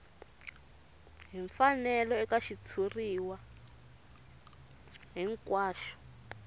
hi mfanelo eka xitshuriwa hinkwaxo